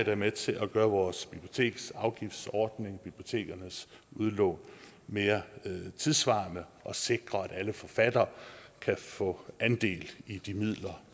er med til at gøre vores biblioteksafgiftsordning bibliotekernes udlån mere tidssvarende og sikre at alle forfattere kan få andel i de midler